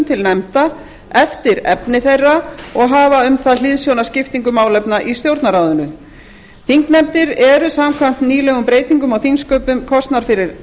til nefnda eftir efni þeirra og hafa um það hliðsjón af skiptingu málefna í stjórnarráðinu þingnefndir eru samkvæmt nýlegum breytingum á þingsköpum kosnar fyrir